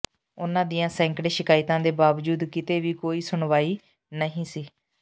ਉਹਨਾਂ ਦੀਆਂ ਸੈਂਕੜੇ ਸ਼ਿਕਾਇਤਾਂ ਦੇ ਬਾਵਜੂਦ ਕਿਤੇ ਵੀ ਕੋਈ ਸੁਣਵਾਈ ਨਹੀਂ ਸੀ